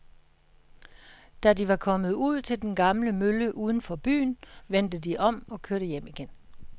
Da de var kommet ud til den gamle mølle uden for byen, vendte de om og kørte hjem igen.